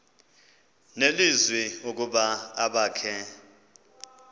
nelizwi ukuba abakhe